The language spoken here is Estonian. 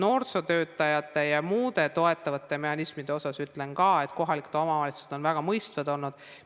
Noorsootöötajate ja muude toetavate mehhanismide kohta ütlen ka, et kohalikud omavalitsused on väga mõistvad olnud.